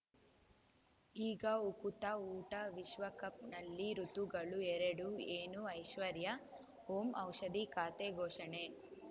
ಈಗ ಉಕುತ ಊಟ ವಿಶ್ವಕಪ್‌ನಲ್ಲಿ ಋತುಗಳು ಎರಡು ಏನು ಐಶ್ವರ್ಯಾ ಓಂ ಔಷಧಿ ಖಾತೆ ಘೋಷಣೆ